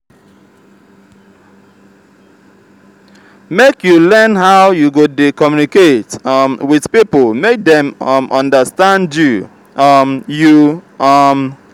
make you learn how you go dey communicate um wit pipo make dem um understand you. um you. um